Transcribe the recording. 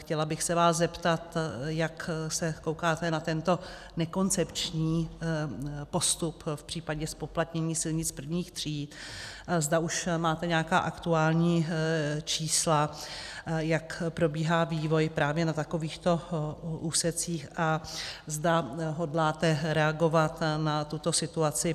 Chtěla bych se vás zeptat, jak se koukáte na tento nekoncepční postup v případě zpoplatnění silnic prvních tříd, zda už máte nějaká aktuální čísla, jak probíhá vývoj právě na takovýchto úsecích a zda hodláte reagovat na tuto situaci.